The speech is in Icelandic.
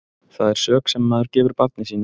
Það er sök sem maður gefur barni sínu.